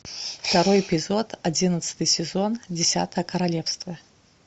второй эпизод одиннадцатый сезон десятое королевство